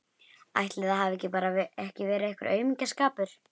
Ætli það hafi bara ekki verið aumingjaskapur.